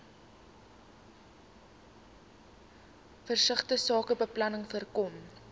versigtige sakebeplanning voorkom